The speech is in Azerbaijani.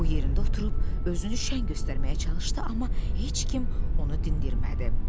O yerində oturub özünü şən göstərməyə çalışdı, amma heç kim onu dindirmədi.